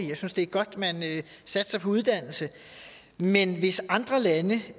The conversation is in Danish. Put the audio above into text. jeg synes det er godt at man satser på uddannelse men hvis andre lande